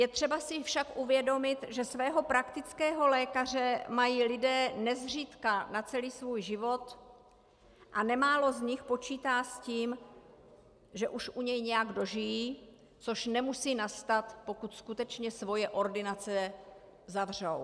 Je třeba si však uvědomit, že svého praktického lékaře mají lidé nezřídka na celý svůj život a nemálo z nich počítá s tím, že už u něj nějak dožijí, což nemusí nastat, pokud skutečně svoje ordinace zavřou.